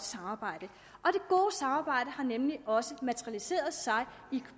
samarbejde har også materialiseret sig